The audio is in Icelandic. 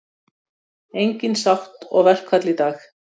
Engin sátt og verkfall í dag